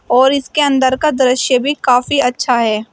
और इसके अंदर का दृश्य भी काफ़ी अच्छा है।